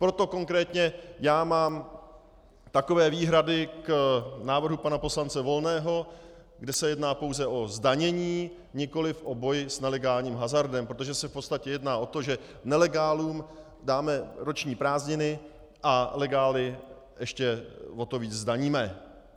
Proto konkrétně já mám takové výhrady k návrhu pana poslance Volného, kde se jedná pouze o zdanění, nikoliv o boj s nelegálním hazardem, protože se v podstatě jedná o to, že nelegálům dáme roční prázdniny a legály ještě o to víc zdaníme.